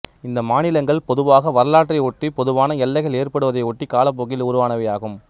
இந்த மாநிலங்கள் பொதுவாக வரலாற்றை ஒட்டி பொதுவான எல்லைகள் ஏற்பட்டதை ஒட்டி காலப்போக்கில் உருவானவை ஆகும்